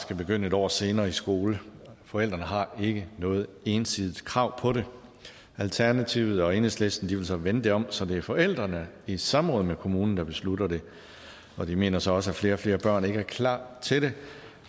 skal begynde et år senere i skole forældrene har ikke noget ensidigt krav på det alternativet og enhedslisten vil så vende det om så det er forældrene i samråd med kommunen der beslutter det og de mener så også at flere og flere børn ikke er klar til det